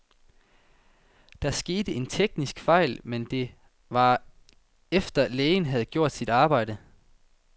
Der skete en teknisk fejl, men det var efter, lægen havde gjort sit arbejde.